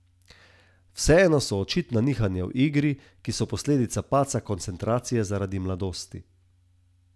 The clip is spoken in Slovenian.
Vseeno so očitna nihanja v igri, ki so posledica padca koncentracije zaradi mladosti.